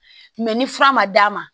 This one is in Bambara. ni fura ma d'a ma